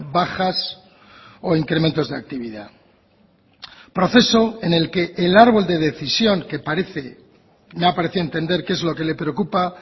bajas o incrementos de actividad proceso en el que el árbol de decisión que parece me ha parecido entender que es lo que le preocupa